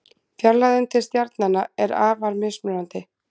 Fjarlægðin til stjarnanna er afar mismunandi.